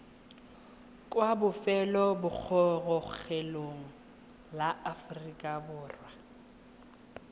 kwa lefelobogorogelong la aforika borwa